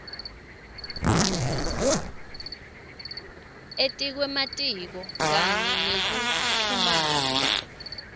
etikwematiko kanye nekuchumana